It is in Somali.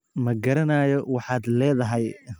Ma garanayo waxaad leedahay